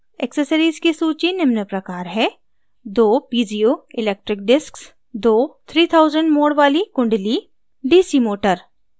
accessories की सूची निम्न प्रकार है: